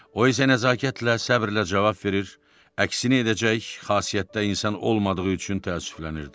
O isə nəzakətlə, səbrlə cavab verir, əksini edəcək xasiyyətdə insan olmadığı üçün təəssüflənirdi.